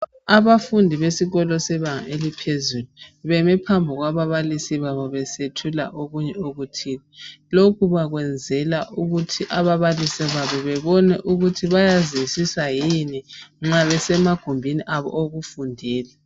Abafundi besikolo sebanga eliphezulu bemephambi kwababalisi besethula okunye okuthile lokho bakwenzela ukuthi ababalisi babo bebone ukuthi bayazwisisa yini nxabesemagumbini abo okufundela